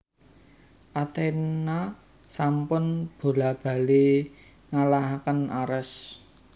Athena sampun bola bali ngalahaken Ares